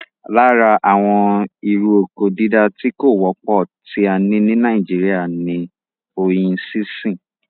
Lára àwọn irú oko dídá tí kò wọ́pọ̀ tí a ní ní nàìjíría ní oyin sínsìn